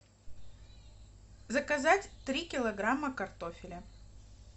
заказать три килограмма картофеля